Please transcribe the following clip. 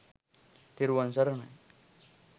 තෙරැවන් සරණයි!